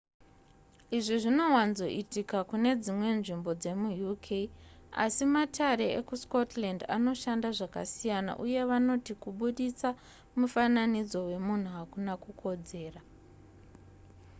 izvi zvinowanzoitika kune dzimwe nzvimbo dzemuuk asi matare ekuscotland anoshanda zvakasiyana uye vanoti kubudisa mufananidzo wemunhu hakuna kukodzera